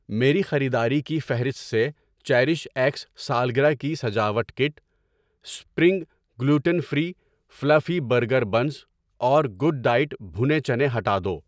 میری خریداری کی فہرست سے چیریش ایکس سالگرہ کی سجاوٹ kit, spring gluten free fluffy burger buns اور گوڈ ڈائٹ بھنے چنے ہٹا دو۔